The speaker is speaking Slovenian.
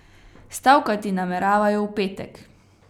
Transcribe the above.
Stavkati nameravajo v petek.